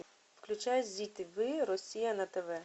включай зи тв россия на тв